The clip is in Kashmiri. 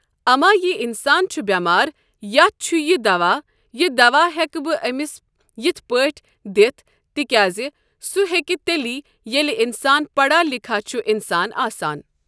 اَما یہِ اِنسان چھُ بٮ۪مار ییٚتٮ۪ھ چھُ یہِ دوا یہِ دوا ہٮ۪کہٕ بہٕ أمِس یِتھ پٲٹھۍ دِتھ تِکیازِ سُہ ہٮ۪کہِ تیلہِ ییٚلہِ اِنسان پَڑا لکھا چھُ اِنسان آسان ۔